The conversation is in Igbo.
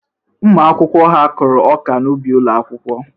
Ụmụ akwụkwọ ha kụrụ ọka n'ubi ụlọ akwụkwọ?